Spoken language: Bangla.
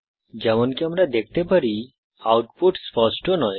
যেমনকি আমরা দেখতে পারি আউটপুট স্পষ্ট নয়